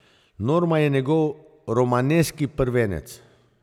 Norma je njegov romaneskni prvenec.